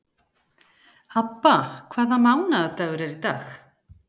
Abba, hvaða mánaðardagur er í dag?